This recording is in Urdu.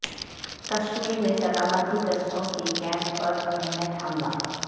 کشمیر میں سلامتی دستوں کے کیمپ پر گرینیڈ حملہ